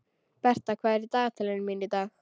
Bertha, hvað er í dagatalinu mínu í dag?